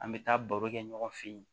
An bɛ taa baro kɛ ɲɔgɔn fɛ yen